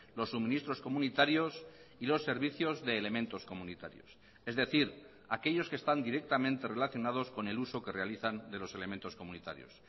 los suministros comunitarios y los servicios de elementos comunitarios es decir aquellos que están directamente relacionados con el uso que realizan de los elementos comunitarios